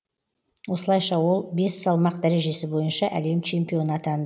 осылайша ол бес салмақ дәрежесі бойынша әлем чемпионы атан